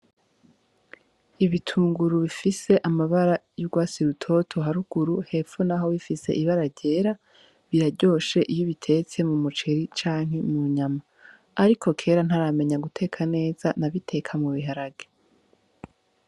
Ibitunguru bifise amabara yugwatsi rutoto haruguru, hepfo naho bifise ibara ryera biraryoshe iyo ubitetse mu muceri canke mu nyama ariko kera ntaramenya guteka neza nabiteka mu biharage .